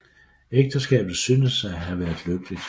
Ægteskabet synes at have været lykkeligt